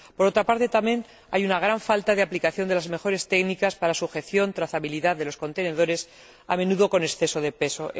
Por otra parte, también, hay una gran falta de aplicación de las mejores técnicas para la sujeción y trazabilidad de los contenedores, a menudo con exceso de peso.